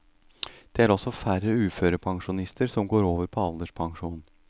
Det er også færre uførepensjonister som går over på alderspensjon.